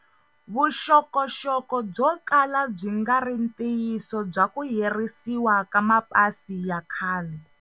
Vuxokoxoko byo kala byi nga ri ntiyiso bya ku herisiwa ka mapasi ya khale.